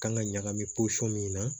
Kan ka ɲagami pɔsɔni min na